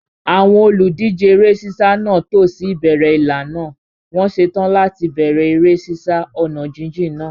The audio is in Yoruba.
Àwọn olùdíje eré sísá náà tò sí ìbẹ̀rẹ̀ ìlà náà, wọ́n ṣetán láti bẹ̀rẹ̀ eré sísá ọ̀nà jíjìn náà.